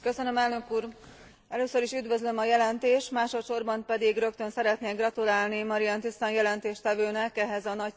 Először is üdvözlöm a jelentést, másodsorban pedig rögtön szeretnék gratulálni Marianne Thyssen jelentéstevőnek ehhez a nagyszerű munkájához.